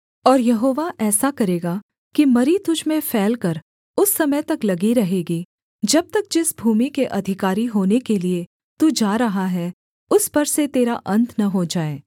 और यहोवा ऐसा करेगा कि मरी तुझ में फैलकर उस समय तक लगी रहेगी जब तक जिस भूमि के अधिकारी होने के लिये तू जा रहा है उस पर से तेरा अन्त न हो जाए